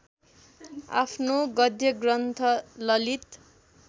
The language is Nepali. आफ्नो गद्यग्रन्थ ललित